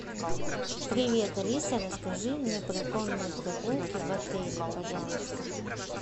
привет алиса расскажи мне про конные прогулки в отеле пожалуйста